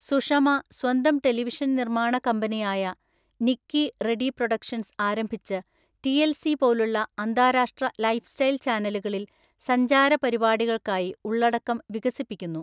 സുഷമ സ്വന്തം ടെലിവിഷൻ നിര്‍മ്മാണ കമ്പനിയായ നിക്കി റെഡി പ്രൊഡക്ഷൻസ് ആരംഭിച്ച് ടിഎൽസി പോലുള്ള അന്താരാഷ്ട്ര ലൈഫ്സ്റ്റൈൽ ചാനലുകളിൽ സഞ്ചാര പരിപാടികൾക്കായി ഉള്ളടക്കം വികസിപ്പിക്കുന്നു.